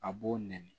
A b'o nɛni